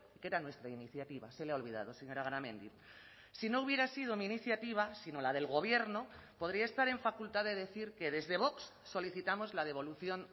que era nuestra iniciativa se le ha olvidado señora garamendi si no hubiera sido mi iniciativa sino la del gobierno podría estar en facultad de decir que desde vox solicitamos la devolución